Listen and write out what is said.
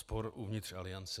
Spor uvnitř aliance.